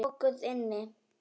Lokuð inni.